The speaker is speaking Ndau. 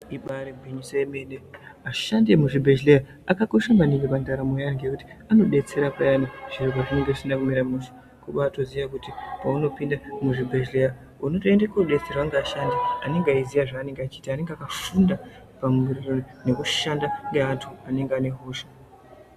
Ibaari gwinyiso yemene, ashandi emuzvibhehleya akakosha maningi pandaramo yeanhu ngekuti anodetsera payani zviro pazvinenge zvisina kumira mushe. Kubaatoziya kuti paunopinda muzvibhehhleya unotoende koodetserwa ngeashandi anenge eiziya zvaanoita, anenge akafunda ngekushanda neantu anenge anehosha.